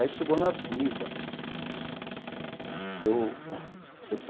Aí chegou na avenida eu.